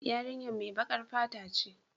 Yarinyar mai bakar fata ce.